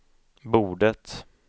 bordet